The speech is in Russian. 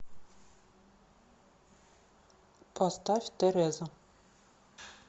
поставь тереза